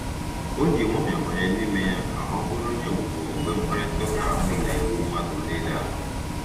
O ji nwayọọ banye n'ime ya ka ọ bụrụ onye ogbugbo mgbe mkparịta ụka ahụ na-eru mmadụ niile ala.